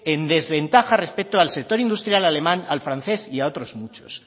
en desventaja respecto al sector industrial alemán al francés y a otros muchos